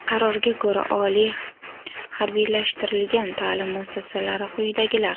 Qarorga ko‘ra, oliy harbiylashtirilgan ta’lim muassasalari quyidagilar:.